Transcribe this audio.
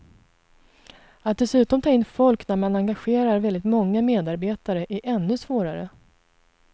Att dessutom ta in folk när man engagerar väldigt många medarbetare är ännu svårare.